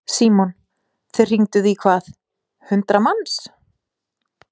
Símon: Þið hringduð í hvað, hundrað manns?